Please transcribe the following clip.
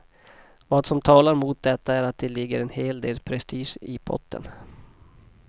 Vad som talar mot detta är att det ligger en hel del prestige i potten.